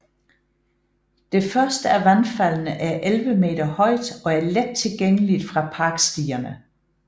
Det første af vandfaldene er 11 meter højt og er let tilgængeligt fra parkstierne